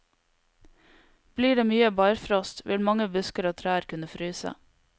Blir det mye barfrost, vil mange busker og trær kunne fryse.